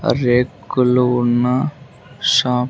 రేకులు ఉన్న షాప్ .